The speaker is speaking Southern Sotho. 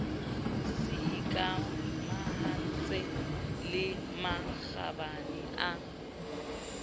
se ikamahantseng le makgabane a